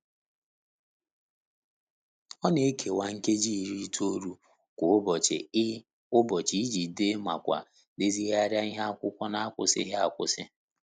Ọ na e kewa nkeji iri itoolu kwa ụbọchị i ụbọchị i ji dee ma kwa deziegharia ihe akụkọ n'akwusighị akwụsị.